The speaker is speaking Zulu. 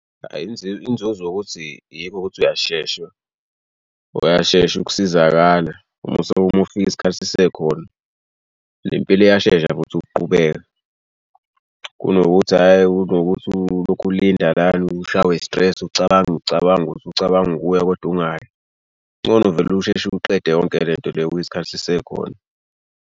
Ayi inzuzo yokuthi yikho ukuthi uyashesha uyashesha ukusizakala uma usuke uma ufika isikhathi sisekhona ne mpilo iyashesha futhi ukuqhubeke, kunokuthi hhayi kunokuthi ulokhu ulinda lana ushawe i-stress ucabanga ucabanga uthi ucabanga ukuya koda ungayi. Kungcono vele usheshe uqede yonke le nto le isikhathi sisekhona.